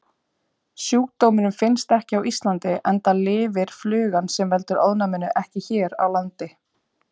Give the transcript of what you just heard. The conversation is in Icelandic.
Sjúkdómurinn finnst ekki á Íslandi enda lifir flugan sem veldur ofnæminu ekki hér á landi.